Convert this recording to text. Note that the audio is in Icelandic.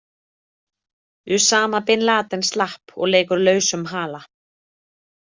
Usama Bin Laden slapp og leikur lausum hala.